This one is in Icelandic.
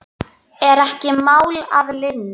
Er ekki mál að linni?